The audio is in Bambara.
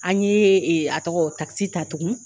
An ɲe a tɔgɔ takisi ta tugun.